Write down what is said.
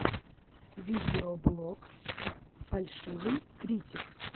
видеоблог фальшивый критик